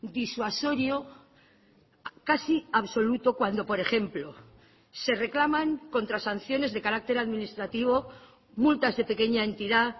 disuasorio casi absoluto cuando por ejemplo se reclaman contra sanciones de carácter administrativo multas de pequeña entidad